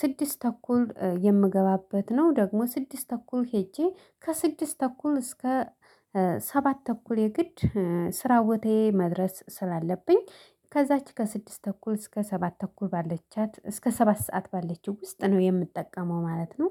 ስድስት ተኩል የምገባበት ነው። ደግሞ ስድስት ተኩል ሄጄ ከስድስት ተኩል እስከ ሰባት ተኩል የግድ ስራ ቦታዬ መድረስ ስላለብኝ ከዛች ከስድስት ተኩል እስከ ሰባት ተኩል ባለቻት እስከ ሰባት ሰዓት ባለችው ውስጥ ነው የምጠቀመው ማለት ነው